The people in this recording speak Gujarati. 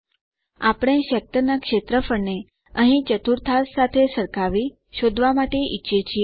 આપણે સેક્ટર ના ક્ષેત્રફળને અહીં ચતુર્થાંશ સાથે સરખાવી શોધવા માટે ઈચ્છીએ છીએ